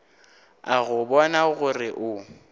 a go bona gore o